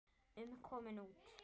um komin út.